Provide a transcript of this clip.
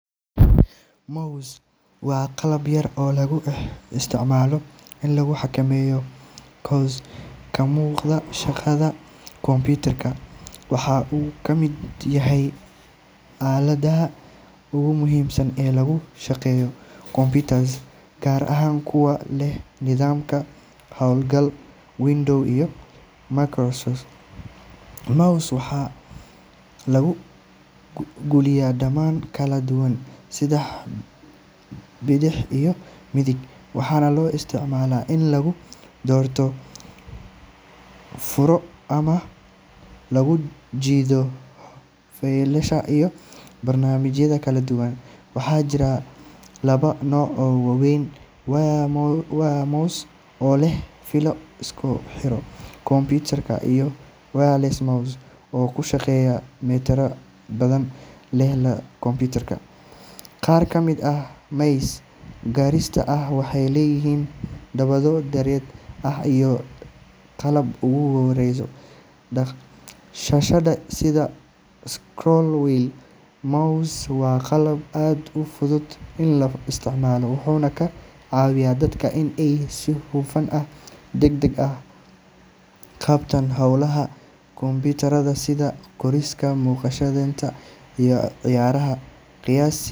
Mouse waa qalab yar oo loo isticmaalo in lagu xakameeyo cursor ka muuqda shaashadda computer. Waxa uu ka mid yahay aaladaha ugu muhiimsan ee lagu shaqeeyo computers, gaar ahaan kuwa leh nidaamka hawlgalka Windows iyo MacOS. Mouse-ka waxaa lagu gujiyaa badhamo kala duwan sida bidix iyo midig, waxaana loo isticmaalaa in lagu doorto, lagu furo, ama lagu jiido faylasha iyo barnaamijyada kala duwan. Waxaa jira laba nooc oo waaweyn: wired mouse oo leh fiilo isku xirta computer, iyo wireless mouse oo ku shaqeeya batteri oo xidhiidhka la leh computer iyada oo aan lahayn fiilo. Qaar ka mid ah mice casriga ah waxay leeyihiin badhamo dheeraad ah iyo qalab lagu maareeyo dhaq-dhaqaaqa shaashadda sida scroll wheel. Mouse waa qalab aad u fudud in la isticmaalo, wuxuuna ka caawiyaa dadka in ay si hufan oo degdeg ah u qabtaan hawlaha kombuyuutarka sida qorista, naqshadeynta, iyo ciyaaraha. Qiyaastii.